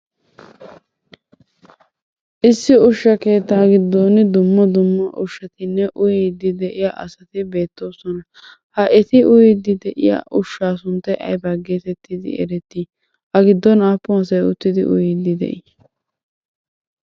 Issi ushsha keettaa giddon dumma dumma ushshatinne uyiiddi de'iya asati beettoosona. Ha eti uyiiddi de'iya ushshaa sunttay aybaa geetettidi erettii? A giddon aappun asay uttidi uyiiddi de'ii?